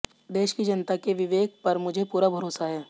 देश की जनता के विवेक पर मुझे पूरा भरोसा है